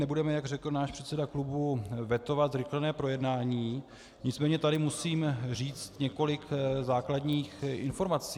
Nebudeme, jak řekl náš předseda klubu, vetovat zrychlené projednání, nicméně tady musím říct několik základních informací.